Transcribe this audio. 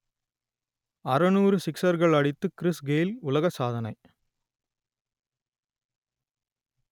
அறுநூறு சிக்சர்கள் அடித்து கிறிஸ் கெய்ல் உலக சாதனை